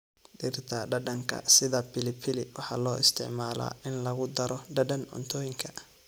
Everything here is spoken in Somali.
Dhirta dhadhanka sida pilipili waxaa loo isticmaalaa in lagu daro dhadhan cuntooyinka.